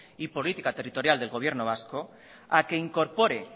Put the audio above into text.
y política territorial del gobierno vasco a que incorpore